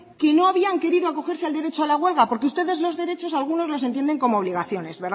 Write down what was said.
que no habían querido acogerse al derecho a la huelga porque ustedes los derechos algunos los entienden como obligaciones